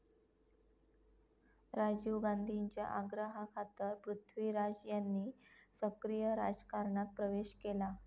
राजीव गांधींच्या आग्रहाखातर पृथ्वीराज यांनी सक्रीय राजकारणात प्रवेश केला.